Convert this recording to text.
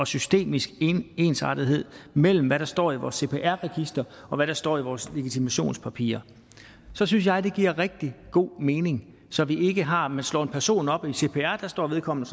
systemisk ensartethed mellem hvad der står i vores cpr register og hvad der står i vores legitimationspapirer så synes jeg det giver rigtig god mening så vi ikke har man slår en person op i cpr og der står vedkommende